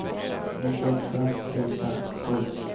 nittioåtta tusen sju